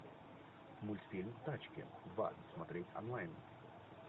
мультфильм тачки два смотреть онлайн